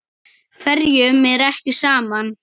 Hverjum er ekki sama.